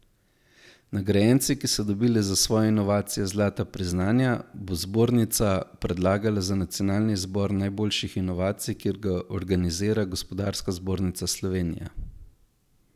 Nagrajenci, ki so dobili za svoje inovacije zlata priznanja, bo zbornica predlagala za nacionalni izbor najboljših inovacij, ki ga organizira Gospodarska zbornica Slovenije.